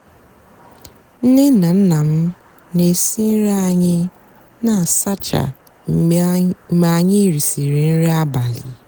nné nà nná m nà-èsi nri ányị nà-àsáchá mgbe ànyí rìsịrị nrì abálị.